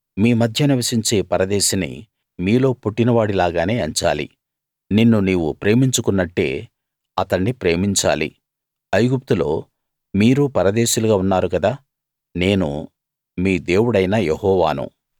మీ మధ్య నివసించే పరదేశిని మీలో పుట్టినవాడి లాగానే ఎంచాలి నిన్ను నీవు ప్రేమించుకున్నట్టే అతణ్ణి ప్రేమించాలి ఐగుప్తులో మీరు పరదేశులుగా ఉన్నారు గదా నేను మీ దేవుడైన యెహోవాను